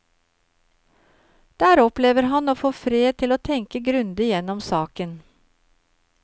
Der opplever han å få fred til å tenke grundig gjennom saken.